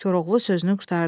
Koroğlu sözünü qurtardı.